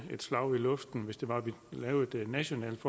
et slag i luften hvis det var vi lavede et nationalt